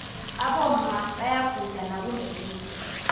aboma bayaguda nakunequde